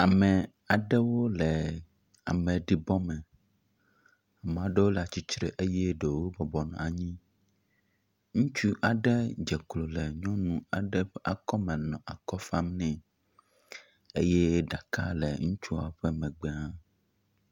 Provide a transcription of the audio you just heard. Ame aɖewo le ameɖibɔ me. Mea ɖewo le atsitre eye ɖewo bɔbɔ nɔ anyi. Ŋutsu aɖe dze klo le nyɔnu aɖe ƒe akɔ me nɔ akɔ fam nɛ, eye ɖaka le ŋutsuɔ megbe hã.